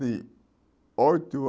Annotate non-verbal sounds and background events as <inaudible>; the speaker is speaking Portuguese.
<unintelligible> oito